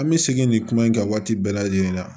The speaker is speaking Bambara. An bɛ segin nin kuma in kɛ waati bɛɛ lajɛlen na